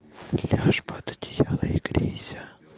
ляжь под одеяло и грейся